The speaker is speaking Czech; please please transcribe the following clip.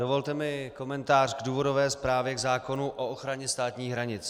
Dovolte mi komentář k důvodové zprávě k zákonu o ochraně státních hranic.